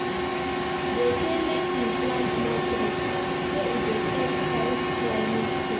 Dem sey make we plant more trees, sey e dey help fight climate change.